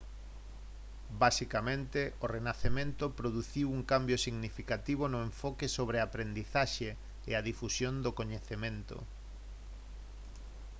basicamente o renacemento produciu un cambio significativo no enfoque sobre a aprendizaxe e a difusión do coñecemento